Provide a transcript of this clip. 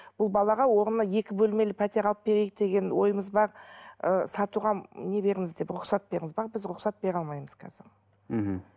бұл балаға орнына екі бөлмелі пәтер алып берейік деген ойымыз бар ы сатуға не беріңіз деп рұқсат беріңіз бірақ біз рұқсат бере алмаймыз қазір мхм